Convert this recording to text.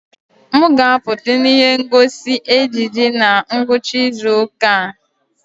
M ga-apụta na ihe ngosi ejiji na ngwụcha izu ụka a.